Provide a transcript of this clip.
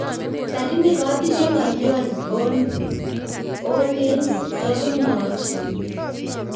Lakini katinye ngolyon o ne to kimwochin